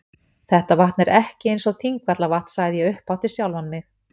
Þetta vatn er ekki eins og Þingvallavatn sagði ég upphátt við sjálfan mig.